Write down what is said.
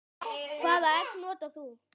Hvaða egg notar þú?